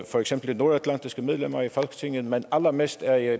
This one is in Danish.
for eksempel de nordatlantiske medlemmer af folketinget men allermest er jeg